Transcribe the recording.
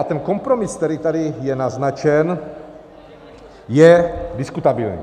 A ten kompromis, který tady je naznačen, je diskutabilní.